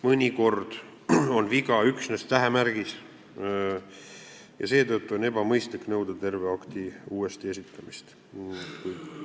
Mõnikord on viga üksnes tähemärgis ja seetõttu on ebamõistlik nõuda terve akti uuesti esitamist.